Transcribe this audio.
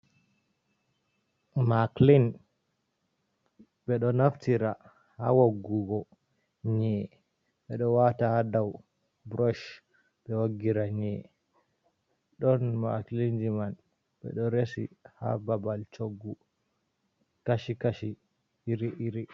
Maklin, ɓe ɗo naftira ha woggugo nyi'e, ɓe ɗo wata ha dow brosh ɓe woggira nyi'e. Ɗon makilin ji man ɓe ɗo resi ha babal choggu kashi-kashi, iri-iri.